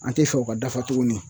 An te sɔn o ka dafa tuguni